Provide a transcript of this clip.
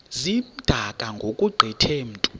zimdaka ngokugqithe mntu